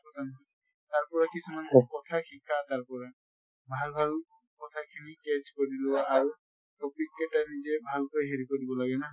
কথা নহয়। তাৰ পৰা কিছুমান কথা শিকা তাৰ পৰা। ভাল ভাল কথা খিনি catch কৰি লোৱা আৰু topic কেটা নিজে ভাল কৈ হেৰি কৰিব লাগে না